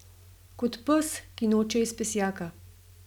Kot pes, ki noče iz pesjaka.